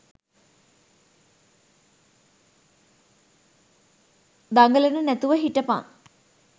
දඟලන නැතුව හිටපන්.